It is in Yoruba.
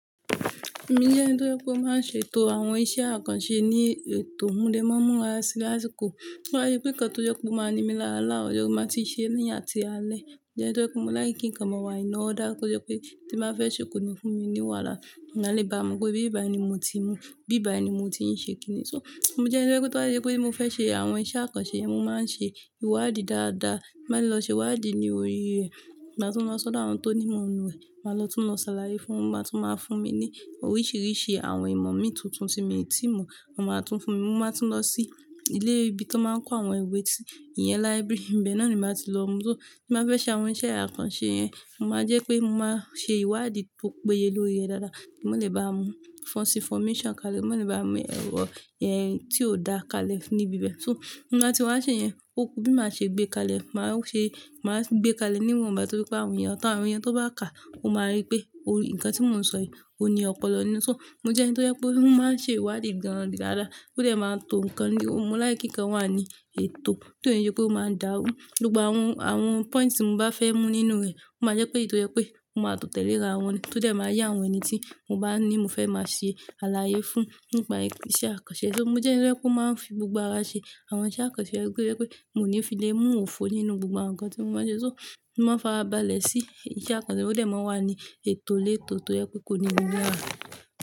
Mo jẹ́ ẹni tó yẹ kó máa ń ṣètò àwọn iṣẹ́ àkànṣe ní ètò, kí ó mọ́ múra sí lásìkò. Ti n ba à yí pé nkan tó yẹ kó máa ní mi láàlá, ọ̀yọ́ máa ti ṣe níyà àti alẹ́. Mo jẹ ẹni tó jẹ pe mo like kíkan ma wà in order, kó jẹ pé tí màá fẹ́ ṣe ko ni fún mi ni wàhálà. Ẹ̀eyan a lè bá mọ̀ pé ibi báyìí ní mo ti mú, ibí báyìí ní mo ti ń ṣe kìíní. So mo jẹ́ ẹni tó jẹ pe to ba je pe mo fe se àwọn iṣẹ́ àkànṣe yẹn, mo máa ń ṣe ìwádìí dáadáa. Máa lọ ṣe ìwádìí ní orí rẹ̀, máa tún lọ sọ́dọ̀ àwọn tó ní ìmọ̀ nù rẹ̀, màá lọ tún lọ ṣàlàyé fún wọ́n, wọ́n máa tún máa fún mi ní oríṣiríṣi àwọn ìmọ̀ mi tuntun tí mo ti mọ̀, wọ́n máa tún fún mi, mo máa tún lọ sí ilé ibi tó máa ń kó àwọn ìwé sí ìyẹn library ibẹ̀ náà ni màá ti lọ mú. So tí màá fẹ́ ṣe àwọn iṣẹ́ àkànṣe yẹn, mo máa jẹ́ pé mo máa ṣe ìwádìí tó péye lórí rẹ̀ dáadáa kí mo lè bá mu false information kalẹ̀, kí mo lè bá mu ohun tí ò dáa kalẹ̀ níbi ibẹ̀. So mo máa ti wá ṣe yẹn, òkú bí màá ṣe gbé kalẹ̀, màá ṣe, màá gbé kalẹ̀ níwọ̀nba, torí pé àwọn èèyàn ọ̀tá àwọn èèyàn tó bá kàá, ó máa rí pé òrìń, nǹkan tí mò ń sọ yìí, òun ni ọpọlọ ní. So mo jẹ́ ẹni tó yẹ kó máa ń ṣe ìwádìí gan an dáadáa, tó dẹ máa tò ǹkan ní, mo láì kíkan wà ní ètò, kí òun yẹ pé ó máa ń dàrú. Gbogbo àwọn, àwọn pọ́ìǹtì tí mo bá fẹ́ mú nínú rẹ̀, ó máa jẹ́ pé èyí tó yẹ pé mo máa tò tẹ́lẹ̀ rà àwọn, tó dẹ máa yá àwọn ẹni tí mo bá ní mo fẹ́ máa ṣe àlàyé fún nípa iṣẹ́ àkànṣe. So mo jẹ́ ẹni tó yẹ kó máa ń fi gbogbo ara ṣe àwọn iṣẹ́ àkànṣe, torí pé yẹ pé mo ní fi lé mú òfo nínú gbogbo ǹkan tí mo máa ń ṣe. So mo máa ń fara balẹ̀ sí iṣẹ́ àkànṣe, ó yẹ máa wà ní ètò lẹ́tò tó yẹ pé kò ní nímilarà.